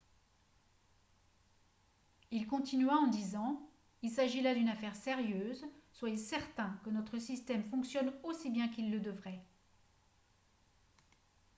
"il continua en disant "il s'agit là d'une affaire sérieuse. soyez certains que notre système fonctionne aussi bien qu'il le devrait.""